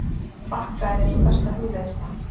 bakka er eins og besta hugleiðsla.